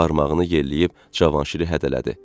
Barmağını yelləyib Cavanşiri hədələdi.